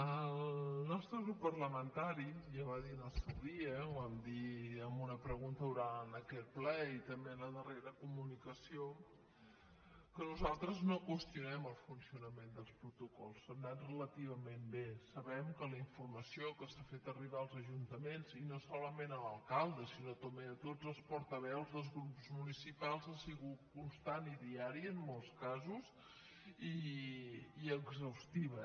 el nostre grup parlamentari ja va dir en el seu dia ho vam dir en una pregunta oral en aquest ple i també en la darrera comunicació que nosaltres no qüestionem el funcionament dels protocols han anat relativament bé sabem que la informació que s’ha fet arribar als ajuntaments i no solament a l’alcalde sinó també a tots els portaveus dels grups municipals ha sigut constant i diària en molts casos i exhaustiva